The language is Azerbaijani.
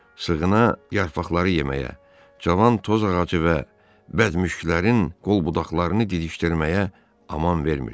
Sığına yarpaqları yeməyə, cavan toz ağacı və bədmuşklərin qol budaqlarını didikdirməyə aman vermirdi.